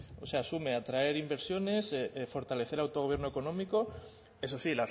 o sea asume atraer inversiones fortalecer el autogobierno económico eso sí